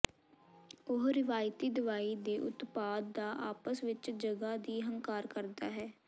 ਉਹ ਰਵਾਇਤੀ ਦਵਾਈ ਦੇ ਉਤਪਾਦ ਦਾ ਆਪਸ ਵਿੱਚ ਜਗ੍ਹਾ ਦੀ ਹੰਕਾਰ ਕਰਦਾ ਹੈ